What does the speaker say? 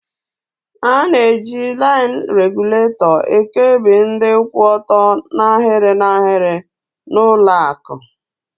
A na-eji laịn regulatọ ekebi ndị kwụ ọtọ n'ahịrị n'ahịrị n'ụlọakụ.